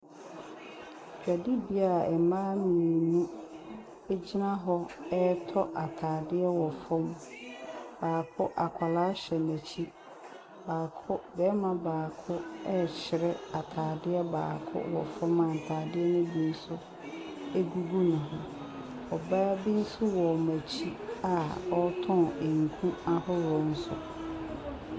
Dwadibea a mmaa mmienu gyina hɔ retɔ atadeɛ wɔ fam. Baako, akwadaa hyɛ n'akyi. Baako, barima baako rekyerɛ atadeɛ baako wɔ fam a ntadeɛ no bi nso gugu ne ho. Ɔbaa bi nso wɔ n'akyia ɔretɔn nku ahodoɔ nso.